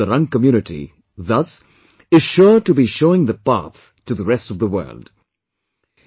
This initiative of the Rang community, thus, is sure to be showing the path to the rest of the world